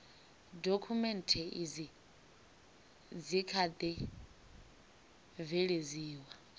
dokhumenthe izi dzi kha ḓi bveledziwa